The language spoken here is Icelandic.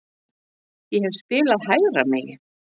Ég hef spilað hægra megin.